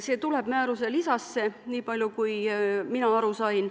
See tuleb määruse lisasse, nii palju kui mina aru sain.